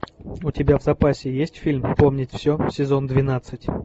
у тебя в запасе есть фильм вспомнить все сезон двенадцать